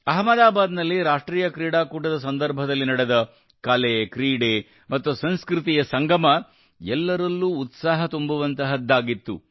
ಆಹಮದಾಬಾದ್ ನಲ್ಲಿ ರಾಷ್ಟ್ರೀಯ ಕ್ರೀಡಾಕೂಟದ ಸಂದರ್ಭದಲ್ಲಿ ನಡೆದ ಕಲೆ ಕ್ರೀಡೆ ಮತ್ತು ಸಂಸ್ಕೃತಿಯ ಸಂಗಮ ಎಲ್ಲರಲ್ಲೂ ಉತ್ಸಾಹ ತುಂಬುವಂತಹದ್ದಾಗಿತ್ತು